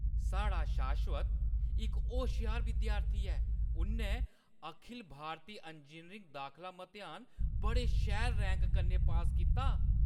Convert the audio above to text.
साढ़ा शाश्वत इक होश्यार विद्यार्थी ऐ! उʼन्नै अखिल भारती इंजीनियरिंग दाखला मतेहान बड़े शैल रैंक कन्नै पास कीता।